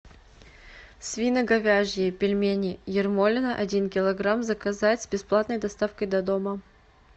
свино говяжьи пельмени ермолино один килограмм заказать с бесплатной доставкой до дома